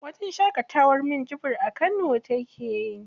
Wajen shaƙatawar minjibir a kano take.